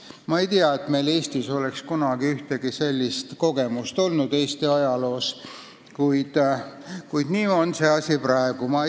Ma ei tea, et meil Eestis oleks kunagi ajaloos ühtegi sellist kogemust olnud, kuid nii see asi praegu on.